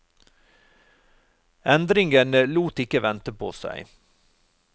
Endringene lot ikke vente på seg.